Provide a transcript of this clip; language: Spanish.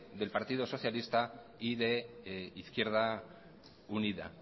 del partido socialistas y de izquierda unida